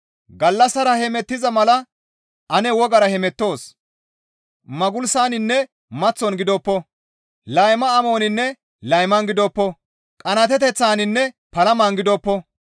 Gallassara hemettiza mala ane wogara hemettoos; magulsaninne maththon gidoppo; layma amoninne layman gidoppo; qanaateteththaninne palaman gidoppo.